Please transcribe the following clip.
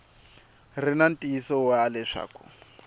ri na ntiyiso wa leswaku